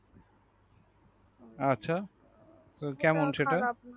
হ্যাঁ আচ্ছা তো কেমন সেটা।